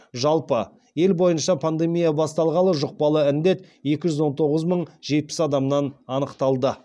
жалпы ел бойынша пандемия басталғалы жұқпалы індет екі жүз он тоғыз мың жетпіс адамнан анықталды